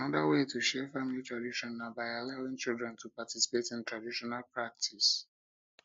anoda wey to share family tradition na by allowing children to participate in traditional practices